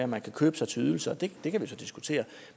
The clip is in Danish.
man kan købe sig til ydelser og det det kan vi så diskutere